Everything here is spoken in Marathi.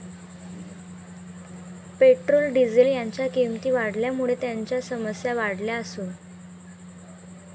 पेट्रोल, डिझेल यांच्या किंमती वाढल्यामुळे त्यांच्या समस्या वाढल्या असून.